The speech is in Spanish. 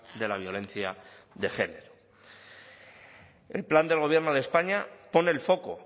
de la violencia de género el plan del gobierno de españa pone el foco